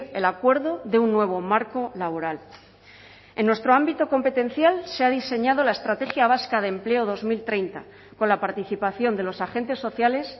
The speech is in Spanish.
el acuerdo de un nuevo marco laboral en nuestro ámbito competencial se ha diseñado la estrategia vasca de empleo dos mil treinta con la participación de los agentes sociales